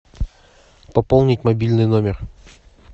пополнить мобильный номер